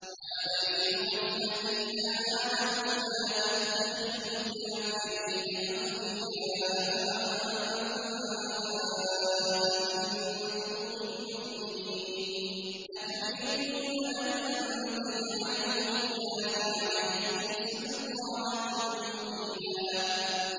يَا أَيُّهَا الَّذِينَ آمَنُوا لَا تَتَّخِذُوا الْكَافِرِينَ أَوْلِيَاءَ مِن دُونِ الْمُؤْمِنِينَ ۚ أَتُرِيدُونَ أَن تَجْعَلُوا لِلَّهِ عَلَيْكُمْ سُلْطَانًا مُّبِينًا